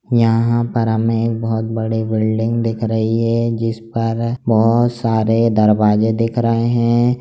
यहां पर हमें एक बहोत बड़ी बिल्डिंग दिख रही है जिस पर बहोत सारे दरवाजे दिख रहे हैं।